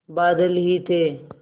बादल ही थे